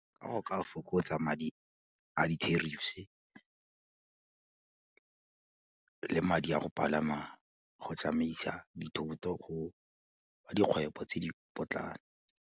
Ga o ka fokotsa madi a di-terrifs le madi a go palama go tsamaisa dithuto a dikgwebo tse di potlana.